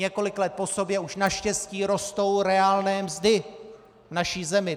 Několik let po sobě už naštěstí rostou reálné mzdy v naší zemi.